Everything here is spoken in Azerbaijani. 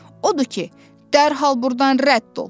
Odur ki, dərhal burdan rədd ol!